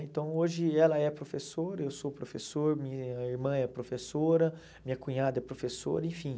Então, hoje ela é professora, eu sou professor, minha irmã é professora, minha cunhada é professora, enfim.